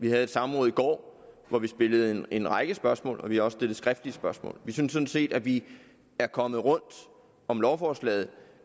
vi havde samråd i går hvor vi stillede en række spørgsmål og vi har også stillet skriftlige spørgsmål vi synes sådan set at vi er kommet rundt om lovforslaget